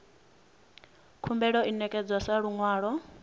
khumbelo i ṋekedzwa sa luṅwalo